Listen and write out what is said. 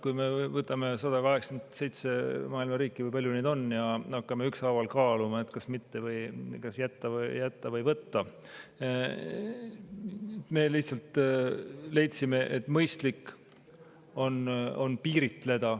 Kui me võtame 187 maailma riiki, või palju neid ongi, ja hakkame ükshaaval kaaluma, kas jätta või võtta – me lihtsalt leidsime, et mõistlik on piiritleda.